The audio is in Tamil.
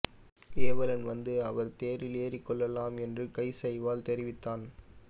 ஏவலன் வந்து அவர் தேரில் ஏறிக்கொள்ளலாம் என்று கையசைவால் தெரிவித்தான்